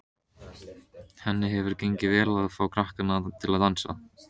Henni hefur gengið vel að fá krakkana til að dansa.